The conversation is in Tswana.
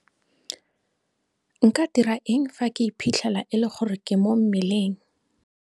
Nka dira eng fa ke iphitlhela e le gore ke mo mmeleng?